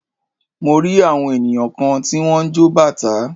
Mo rí àwọn ènìyàn kan tí wọ́n ń jọ bàtá.